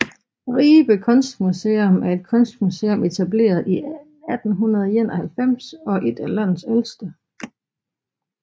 Ribe Kunstmuseum er et kunstmuseum etableret i 1891 og ét af landets ældste